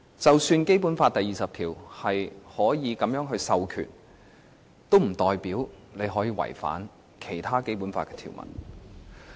即使《基本法》第二十條訂明可以這樣授權，也不代表可以違反《基本法》的其他條文。